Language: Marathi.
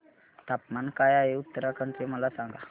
तापमान काय आहे उत्तराखंड चे मला सांगा